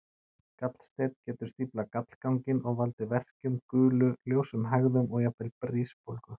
Gallsteinn getur stíflað gallganginn og valdið verkjum, gulu, ljósum hægðum eða jafnvel brisbólgu.